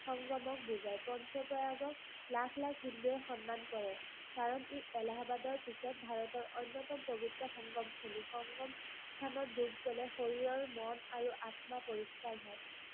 সংগমক বুজায়। পঞ্চ-প্ৰয়াগক লাখ-লাখ হিন্দুয়ে সন্মান কৰে, কাৰণ ই এলাহবাদৰ পিছত ভাৰতৰ অন্যতম পবিত্ৰ সংগমস্থলী। সংগমস্থানত ডুব ললে শৰীৰ, মন আৰু আত্মা পৰিস্কাৰ হয়।